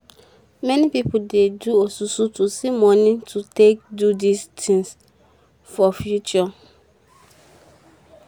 many pipo dey do osusu to see moni to take do tins for future